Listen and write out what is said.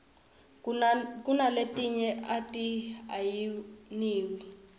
kunaletinye ati ayiniwi